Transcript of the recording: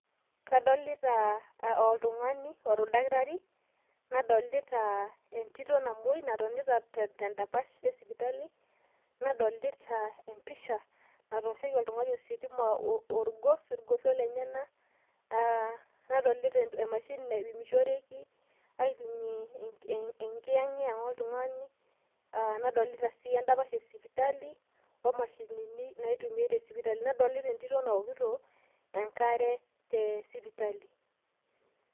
kadolita oldakitari we tito namoi natonita tedapash esipitali nadolita empisha natooshoki oltung'ani ositima orgos , nadolita emashini naipimishoreki enkiyang'yang' oltung'ani nadolita entito nawokito enkare tesipitali.